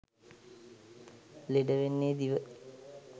ලෙඩ වෙන්නේ දිව.